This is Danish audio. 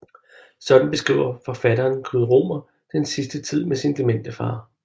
Sådan beskriver forfatteren Knud Romer den sidste tid med sin demente far